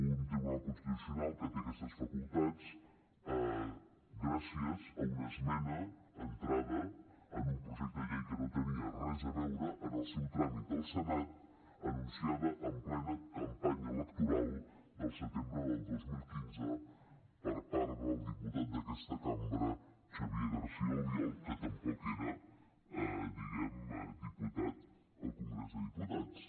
un tribunal constitucional que té aquestes facultats gràcies a una esmena entrada a un projecte de llei que no tenia res a veure en el seu tràmit al senat anunciada en plena campanya electoral del setembre del dos mil quinze per part del diputat d’aquesta cambra xavier garcía albiol que tampoc era diguem ne diputat al congrés dels diputats